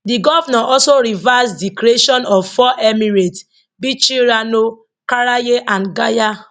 di govnor also reverse di creation of four emirates bichi rano karaye and gaya